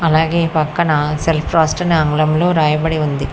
అలాగే పక్కన సెల్ఫ్రోస్ట్ అని ఆంగ్లంలో రాయబడి ఉంది.